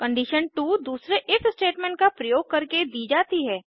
condition 2 दूसरे if statement का प्रयोग करके दी जाती है